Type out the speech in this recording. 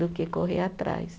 Do que correr atrás.